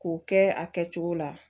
K'o kɛ a kɛcogo la